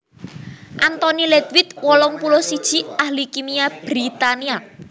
Anthony Ledwith wolung puluh siji ahli kimia Britania